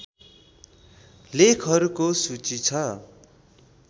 लेखहरूको सूची छ